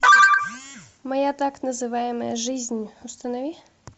моя так называемая жизнь установи